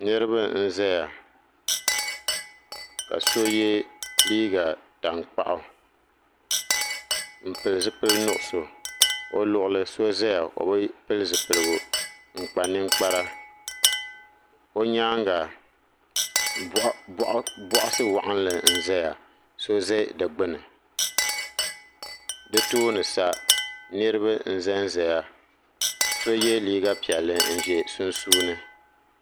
Niriba n zaya ka so ye liiga tankpaɣu m pili zipil'ʒnuɣuso o luɣuli so zaya o bi pili zipiligu o nyaanga boaɣasi nima ayi n zaya so za di gbini di tooni sa niriba n zanzaya so ye liiga piɛlli n ʒɛ sunsuuni.